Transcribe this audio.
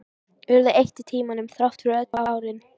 Urðu eitt í tímanum, þrátt fyrir öll árin.